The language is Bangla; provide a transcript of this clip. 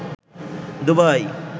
দুবাই